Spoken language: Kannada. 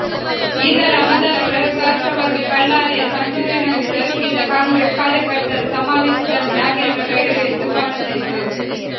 ಇದರ ಮೊದಲ ಪ್ರಯೋಗಾಸ್ತ್ರವಾಗಿ ಬಳ್ಳಾರಿಯ ಸಂಡೂರಿನಲ್ಲಿ ಜರುಗಿದ ಕಾಂಗ್ರೆಸ್ ಕಾರ್ಯಕರ್ತರ ಸಮಾವೇಶದಲ್ಲಿ ನಾಗೇಂದ್ರ ಗೈರು ಎದ್ದುಕಾಣುತ್ತಿತ್ತು